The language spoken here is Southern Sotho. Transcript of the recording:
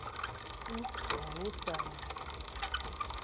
tu ha ho sa na